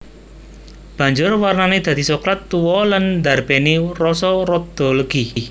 Banjur warnané dadi soklat tuwa lan ndarbèni rasa rada legi